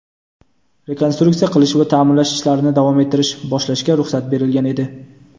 rekonstruksiya qilish va taʼmirlash ishlarini davom ettirish (boshlash)ga ruxsat berilgan edi.